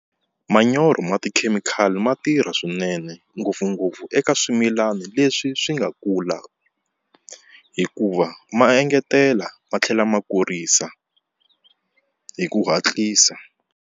Manyoro ya tikhemikhali ma tirha swinene ngopfungopfu eka swimilana leswi swi nga kula hikuva ma engetela ma tlhela ma kurisa hi ku hatlisa.